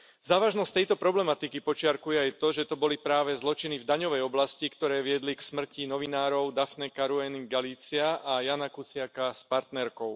Závažnosť tejto problematiky podčiarkuje aj to, že to boli práve zločiny v daňovej oblasti, ktoré viedli k smrti novinárov Daphne Caruany Galizia a Jána Kuciaka s partnerkou.